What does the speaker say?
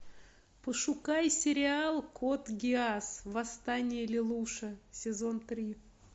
пошукай сериал код гиас восстание лелуша сезон три